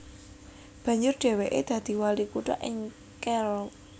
Banjur dhèwèké dadi wali kutha ing Carroll